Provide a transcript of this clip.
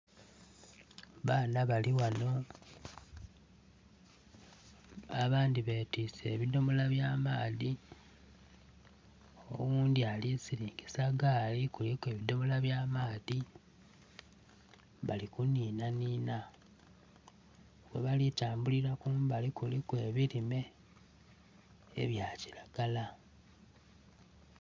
Abaana bali ghano, abandhi betiise ebodomola by'amaadhi. Oghundhi ali kusilingisa gaali kuliku ebidomola by'amaadhi, bali kunhiinhanhiinha. Ghebali kutambulila kumbali kuliku ebilime ebya kilagala.